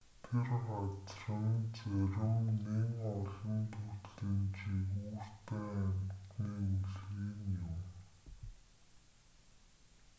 тэр газар нь зарим нэн олон төрлийн жигүүртэн амтны өлгий нь юм